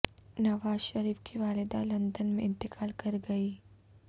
نواز شریف کی والدہ لندن میں انتقال کر گئیں